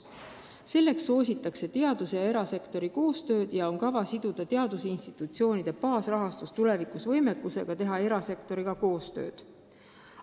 Selleks soositakse teaduse ja erasektori koostööd ja on kava siduda tulevikus teadusinstitutsioonide baasrahastus võimekusega teha koostööd erasektoriga.